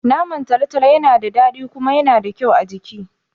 Naman talotalo Yana da dadi kuma Yana da kyau a jiki